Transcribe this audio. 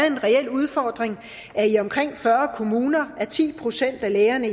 en reel udfordring at i omkring fyrre kommuner er ti procent af lægerne